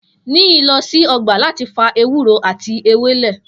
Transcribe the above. Niyi lo si ogba lati fa ewuro ati ewele.